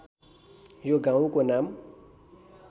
यो गाउँको नाम